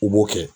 U b'o kɛ